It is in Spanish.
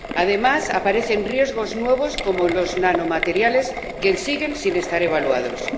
Además, aparecen riesgos nuevos como los nanomateriales, que siguen sin estar evaluados.